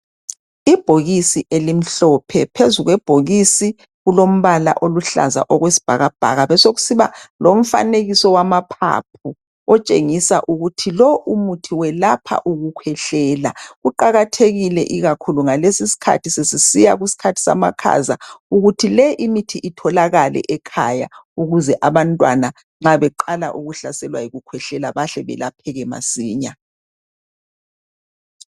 Ibhokisi elimhlophe phezu kwebhokisi kulombala oluhlaza okwesibhakabhaka besekusiba lomfanekiso wamaphaphu otshengisa ukuthi lo umuthi welapha ukukhwehlela. Kuqakathekile ikakhulu ngalesi isikhathi sesiya kusikhathi samakhaza ukuthi le imithi itholakale ekhaya ukuze abantwana nxa beqala ukuhlaselwa yikukhwehlela bahle belapheke masinya